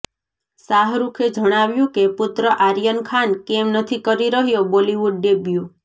શાહરુખે જણાવ્યું કે પુત્ર આર્યન ખાન કેમ નથી કરી રહ્યો બોલિવૂડ ડેબ્યૂ